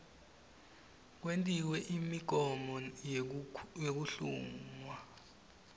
kwentiwe imigomo yekuhlungwa